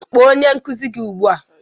Kpọọ onye nkuzi gị ugbu a!